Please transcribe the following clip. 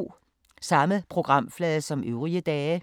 Samme programflade som øvrige dage